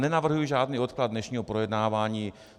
Nenavrhuji žádný odklad dnešního projednávání.